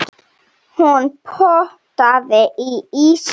Hún potaði í ísinn.